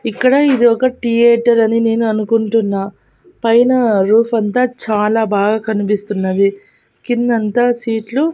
ఇక్కడ ఇది ఒక థియేటర్ అని నేను అనుకుంటున్నా పైన రూఫ్ అంతా చాలా బాగా కనిపిస్తున్నది కిందంతా సీట్లు --